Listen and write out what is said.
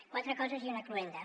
quatre coses i una cloenda